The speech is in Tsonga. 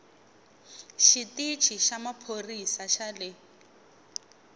xitichi xa maphorisa xa le